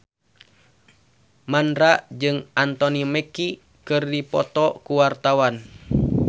Mandra jeung Anthony Mackie keur dipoto ku wartawan